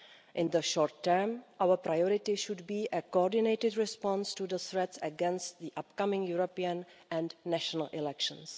In the short term, our priority should be a coordinated response to the threats against the upcoming European and national elections.